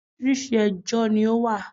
orísirísi ejò ni ó wà